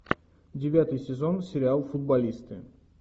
девятый сезон сериал футболисты